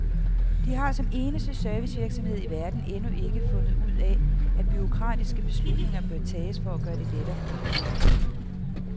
De har som eneste servicevirksomhed i verden endnu ikke har fundet ud af, at bureaukratiske beslutninger bør tages for at gøre det lettere for kunderne.